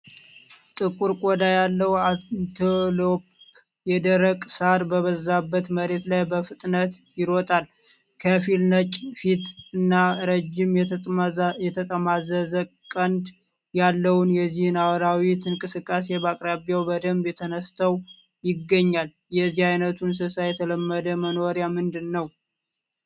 ጥቁር ቆዳ ያለው አንቴሎፕ የደረቀ ሣር በበዛበት መሬት ላይ በፍጥነት ይሮጣል። ከፊል ነጭ ፊት እና ረጅም የተጠማዘዘ ቀንድ ያለውን የዚህ አራዊት እንቅስቃሴ በአቅራቢያው በደንብ ተነስተው ይገኛል። የዚህ አይነቱ እንስሳ የተለመደ መኖሪያ ምንድን ነው?